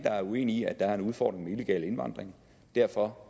er uenige i at der er en udfordring med illegal indvandring og derfor